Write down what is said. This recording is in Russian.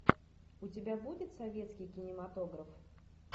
у тебя будет советский кинематограф